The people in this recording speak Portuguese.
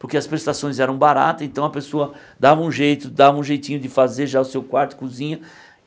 Porque as prestações eram baratas, então a pessoa dava um jeito dava um jeitinho de fazer já o seu quarto, cozinha.